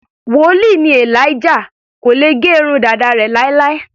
Wòlíì ni Elijah, kò lè gẹ irun dàda rẹ̀ láéláé.